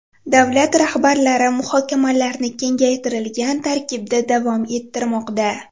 Davlat rahbarlari muhokamalarni kengaytirilgan tarkibda davom ettirmoqda.